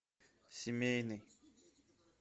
семейный